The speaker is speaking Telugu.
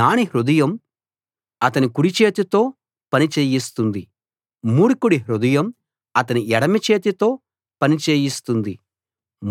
జ్ఞాని హృదయం అతణ్ణి కుడి చేతితో పని చెయ్యిస్తుంది మూర్ఖుడి హృదయం అతని ఎడమ చేతితో పని చేయిస్తుంది